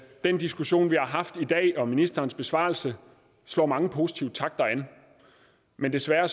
den diskussion vi har haft i dag og ministerens besvarelse slår mange positive takter an men desværre